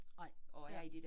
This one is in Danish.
Nej ja